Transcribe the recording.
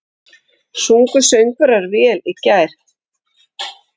Sungu söngvararnir vel í gær?